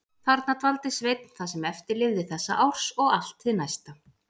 Þarna dvaldi Sveinn það sem eftir lifði þessa árs og allt hið næsta.